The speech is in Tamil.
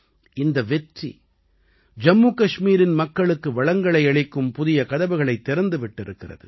இந்த வெற்றி ஜம்மு கஷ்மீரின் மக்களுக்கு வளங்களை அளிக்கும் புதிய கதவுகளைத் திறந்து விட்டிருக்கிறது